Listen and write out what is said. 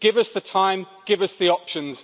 Give us the time and give us the options.